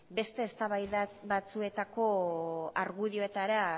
beste eztabaida batzuetako argudioetara